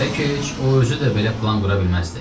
Bəlkə heç o özü də belə plan qura bilməzdi.